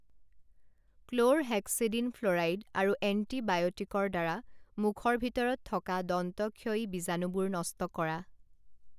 chlorhexidine fluoride আৰু এণ্টিবাইঅটিকৰ দ্বাৰা মুখৰ ভিতৰত থকা দন্তক্ষয়ী বীজাণুবোৰ নষ্ট কৰা